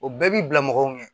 O bɛɛ b'i bila mɔgɔw ɲɛ